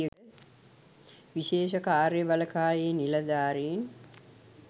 විශේෂ කාර්ය බළකායේ නිලධාරීන්